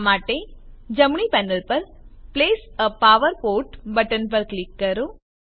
આ માટે જમણી પેનલ પર place a power port button પર ક્લિક કરો